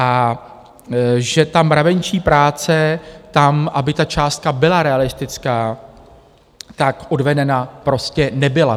A že ta mravenčí práce tam, aby ta částka byla realistická, tak odvedena prostě nebyla.